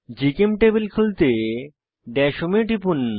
জিচেমটেবল খুলতে dash home এ টিপুন